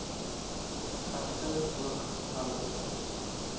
egter ook ander